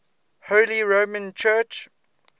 holy roman church